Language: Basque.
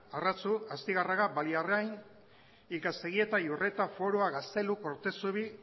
arratzu astigarraga baliarrain ikaztegieta iurreta forua gaztelu kortezubi